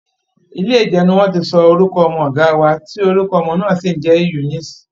Ilé ìjọ ni wọ́n ti sọ orúkọ ọmọ ọ̀gá wa, tí orúkọ ọmọ náà sì ń jẹ́ Eunice